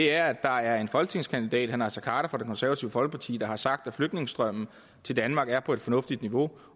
er at der er en folketingskandidat fra det konservative folkeparti der har sagt at flygtningestrømmen til danmark er på et fornuftigt niveau